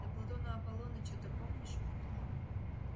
да платона аполлоныча-то помнишь